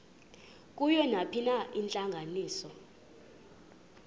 kuyo nayiphina intlanganiso